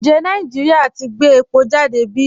Ǹjẹ̀ Nàìjíríà ti gbẹ̀ èpò jàdé bí?